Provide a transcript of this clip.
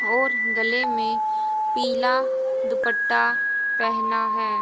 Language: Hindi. और गले मे पीला दुपट्टा पहना है।